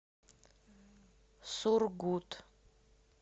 сургут